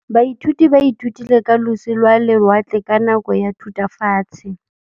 Baithuti ba ithutile ka losi lwa lewatle ka nako ya Thutafatshe.